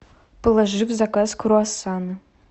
положи в заказ круассаны